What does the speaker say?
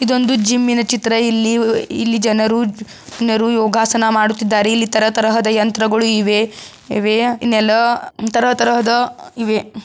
ಇದೊಂದು ಜಿಮ್ಮಿ ನ ಚಿತ್ರ ಎಲ್ಲರೂ ಯೋಗಾಸನ ಮಾಡುತ್ತಿದ್ದಾರೆ ಇಲ್ಲಿ ತರ ತರಹದ ಯಂತ್ರ ಗಳಿವೆ ಇವೆ ನೆಲ ತರ ತರಹದ ಇವೆ.